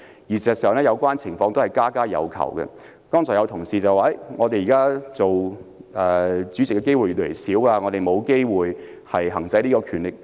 其實這個情況是家家有求，剛才有同事表示，他們現時擔任主席的機會越來越少，沒有機會行使這項權力。